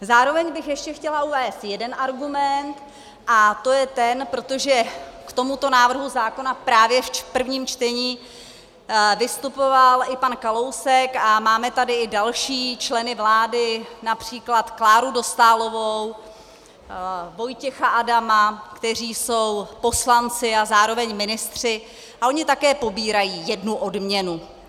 Zároveň bych ještě chtěla uvést jeden argument, a to je ten, protože k tomuto návrhu zákona právě v prvním čtení vystupoval i pan Kalousek, a máme tady i další členy vlády, například Kláru Dostálovou, Vojtěcha Adama, kteří jsou poslanci a zároveň ministři, a oni také pobírají jednu odměnu.